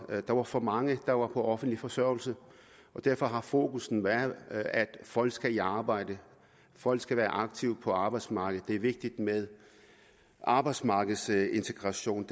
at der var for mange der var på offentlig forsørgelse derfor har fokus været at folk skal i arbejde folk skal være aktive på arbejdsmarkedet og det er vigtigt med arbejdsmarkedsintegration